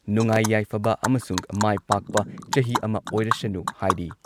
ꯅꯨꯡꯉꯥꯏ ꯌꯥꯏꯐꯕ ꯑꯃꯁꯨꯡ ꯃꯥꯏ ꯄꯥꯛꯄ ꯆꯍꯤ ꯑꯃ ꯑꯣꯏꯔꯁꯅꯨ ꯍꯥꯏꯔꯤ ꯫